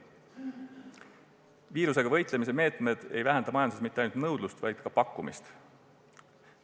Viirusega võitlemise meetmed ei vähenda majanduses mitte ainult nõudlust, vaid ka pakkumist.